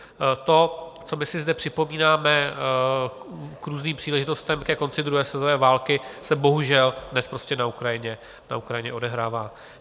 To, co my si zde připomínáme k různým příležitostem ke konci druhé světové války, se bohužel dnes prostě na Ukrajině odehrává.